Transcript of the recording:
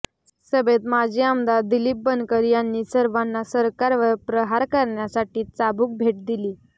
सभेत माजी आमदार दिलीप बनकर यांनी सर्वांना सरकारवर प्रहार करण्यासाठी चाबुक भेट दिली